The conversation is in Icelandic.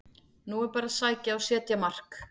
Nú er bara að sækja og setja mark!